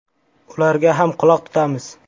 Ularga ham quloq tutamiz.